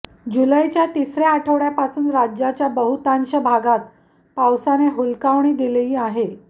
जुलैच्या तिसऱ्या आठवड्यापासून राज्याच्या बहुतांश भागात पावसाने हुलकावणी दिली आहे